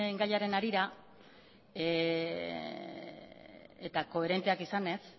gaiaren harira eta koherenteak izanez